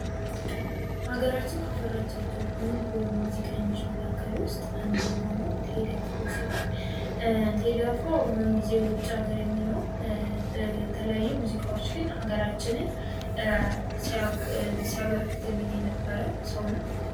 ሀገራችን ካፈራቻቸው ዕንቁ ሙዚቀኞች መካከል ውስጥ አንዱ የሆነው ቴዲ አፍሮ ሲሆን ቴዲ አፍሮ በአሁን ጊዜ ውጭ ሀገር የሚኖር በተለያዩ ሙዚቃዎች ግን ሀገራችንን ሲያበረከትልን የነበረ ሰው ነው ።